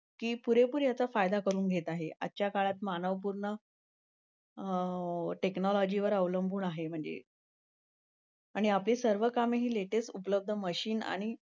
की पुरेपूर याचा फायदा करून घेत आहे. आजच्या काळात मानव पूर्ण. आह टेक्नोलॉजीवर अवलंबून आहे म्हणजे, आणि आपली सर्व कामे ही लेटेस्ट उपलब्ध मशीन आणि,